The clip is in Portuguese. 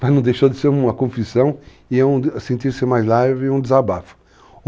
Mas não deixou de ser uma confissão e eu senti-me mais leve e um desabafo.